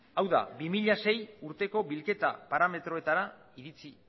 hau da bi mila sei urteko bilketa parametroetara iritsi